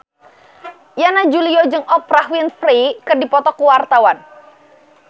Yana Julio jeung Oprah Winfrey keur dipoto ku wartawan